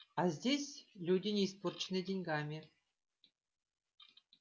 а здесь люди не испорченные деньгами